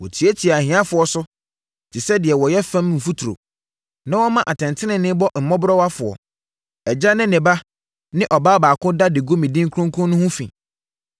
Wɔtiatia ahiafoɔ so te sɛ deɛ wɔyɛ fam mfuturo na wɔma atɛntenenee bɔ mmɔborɔwafoɔ. Agya ne ne ba ne ɔbaa baako da de gu me din kronkron no ho fi.